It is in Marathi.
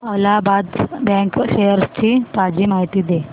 अलाहाबाद बँक शेअर्स ची ताजी माहिती दे